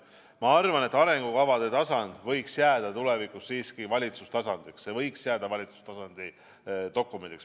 Ma arvan, et arengukavade tasand võiks jääda tulevikus siiski valitsustasandiks, arengukava võiks jääda valitsustasandi dokumendiks.